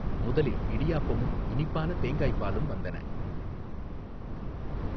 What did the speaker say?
முதலில் இடியாப்பமும் இனிப்பான தேங்காய்ப்பாலும் வந்தன.